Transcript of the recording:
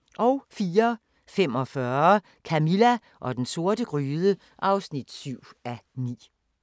04:45: Camilla og den sorte gryde (7:9)